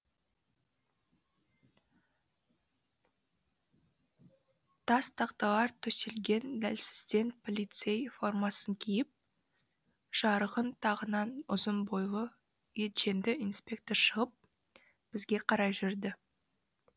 тас тақталар төселген дәлізден полицей формасын киіп жарағын тағынған ұзын бойлы етженді инспектор шығып бізге қарай жүрді